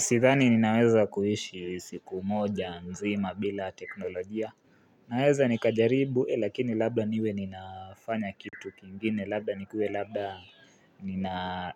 Sidhani ninaweza kuhishi siku moja nzima bila teknolojia Naweza nikajaribu lakini labda niwe ninafanya kitu kingine Labda nikue labda ni naa